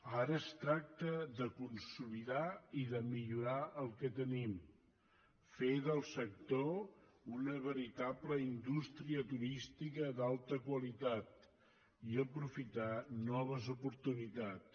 ara es tracta de consolidar i de millorar el que tenim fer del sector una veritable indústria turística d’alta qualitat i aprofitar noves oportunitats